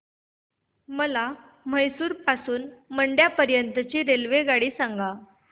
मला म्हैसूर पासून तर मंड्या पर्यंत ची रेल्वेगाडी सांगा